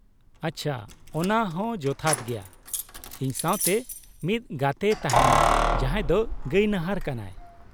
ᱟᱪᱪᱷᱟ, ᱚᱱᱟ ᱦᱚᱸ ᱡᱚᱛᱷᱟᱛ ᱜᱮᱭᱟ ᱾ ᱤᱧ ᱥᱟᱶᱛᱮ ᱢᱤᱫ ᱜᱟᱛᱮᱭ ᱛᱟᱦᱮᱱᱟ ᱡᱟᱦᱟᱸᱭ ᱫᱚ ᱜᱟᱭᱱᱟᱦᱟᱨ ᱠᱟᱱᱟᱭ ᱾